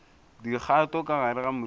dikgato ka gare ga moriti